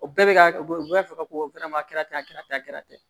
O bɛɛ bɛ ka u b'a fɔ ko